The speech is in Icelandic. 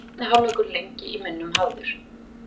Seinni hálfleikur lengi í minnum hafður